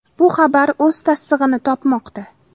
Bu xabar o‘z tasdig‘ini topmoqda.